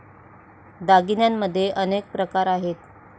दागिन्यांमध्ये अनेक प्रकार आहेत